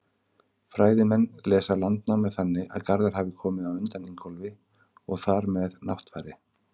Fræðimenn lesa Landnámu þannig að Garðar hafi komið á undan Ingólfi og þar með Náttfari.